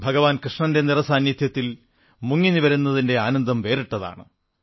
ഭഗവാൻ കൃഷ്ണന്റെ നിറസാന്നിധ്യത്തിൽ മുങ്ങി നിവരുന്നതിന്റെ ആനന്ദം വേറിട്ടതാണ്